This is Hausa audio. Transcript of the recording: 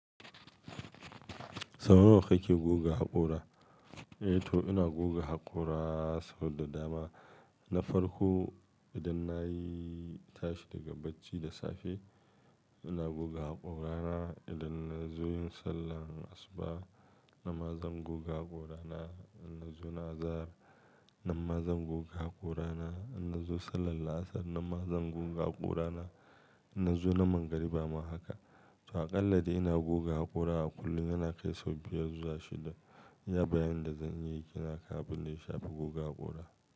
Sau nawa kake goga haƙora? Eh to ina goga haƙora sau da dama. Na farko idan nayi tashi daga bacci da safe ina goga haƙorana. Idan na zo yin sallar asuba ama zan goga haƙora na. Idan na zo na azahar nama zan goga haƙora na. Idan na zo sallar laasar nama zan goga haƙora na. Idan na zo na magrib kuma haka. To aƙalla dai ina goga haƙora a kullum yana kai sau biyar zuwa shida. Ya bayana da zan iya ƙina ka abin da ya shafi goga haƙora.